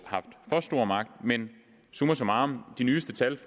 stor magt men summa summarum de nyeste tal